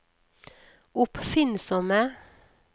oppfinnsomme